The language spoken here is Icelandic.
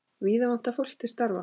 Víða vantar fólk til starfa.